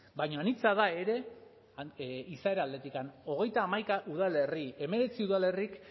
baina anitza da ere izaera aldetik hogeita hamaika udalerri hemeretzi udalerrik